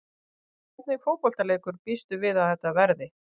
Hvernig fótboltaleikur býstu við að þetta verði?